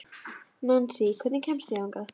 Nansý, hvernig kemst ég þangað?